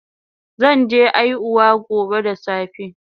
Zan je aihuwa gobe da safe